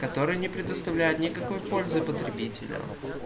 который не предоставляет никакой пользы потребителю